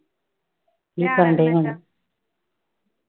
ਕੀ ਕਰਨ ਦੇ ਹੁਣ